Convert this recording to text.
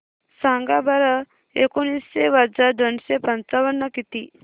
सांगा बरं एकोणीसशे वजा दोनशे पंचावन्न किती